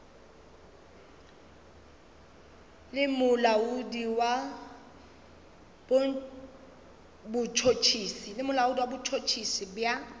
le molaodi wa botšhotšhisi bja